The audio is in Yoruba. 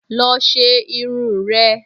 Lọ ṣe irun rẹ!